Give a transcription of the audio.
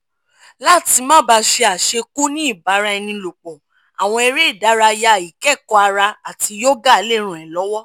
láti má ba ṣe àṣekù-ní-ibaraenilopo àwọn eré ìdárayá ikẹ̀kọ́ ara àti yoga lè ràn ẹ lọwọ